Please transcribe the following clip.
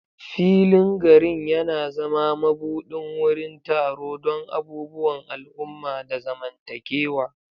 Filin garin yana zama mabuɗin wurin taro don abubuwan al'umma da zamantakewa.